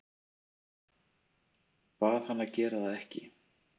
Bað hann að gera það ekki.